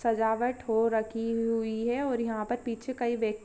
सजावट हो रखी हुई है और यहाँ पर पीछे कई व्यक--